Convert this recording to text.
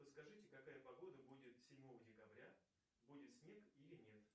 подскажите какая погода будет седьмого декабря будет снег или нет